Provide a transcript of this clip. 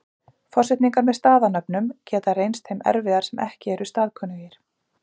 Forsetningar með staðanöfnum geta reynst þeim erfiðar sem ekki eru staðkunnugir.